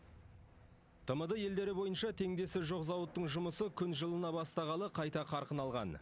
тмд елдері бойынша теңдесі жоқ зауыттың жұмысы күн жылына бастағалы қайта қарқын алған